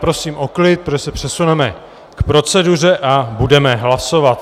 Prosím o klid, protože se přesuneme k proceduře a budeme hlasovat.